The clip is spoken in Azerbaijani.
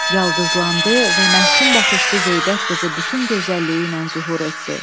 Yaldızlandı və məhsün baxışlı zeybək qızı bütün gözəlliyi ilə zühur etdi.